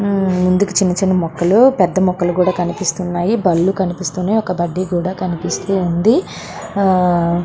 ముందుకు చిన్న చిన్న మొక్కలు పెద్ద పెద్ద మొక్కలు కూడా కనిపిస్తున్నాయి. బళ్ళు కనిపిస్తూ ఉన్నాయి. ఒక బడ్డీ కూడా కనిపిస్తూ ఉంది. ఆ --